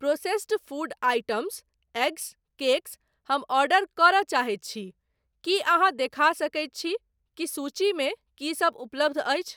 Processed food items, eggs, cakes हम order करय चाहैत छी, की अहाँ देखा सकैत छि की सूचीमे की सब उपलब्ध अछि?